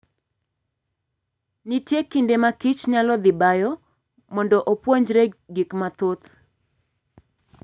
Nitie kinde ma kich nyalo dhi bayo mondo opuonjre gik mathoth.